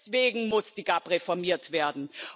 Deswegen muss die GAP reformiert werden.